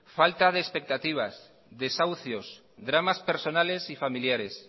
falta de expectativas desahucios dramas personales y familiares